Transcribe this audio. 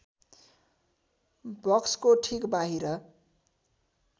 बक्सको ठिक बाहिर